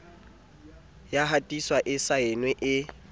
ya hatiswa e saenwe e